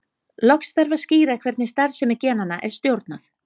Loks þarf að skýra hvernig starfsemi genanna er stjórnað.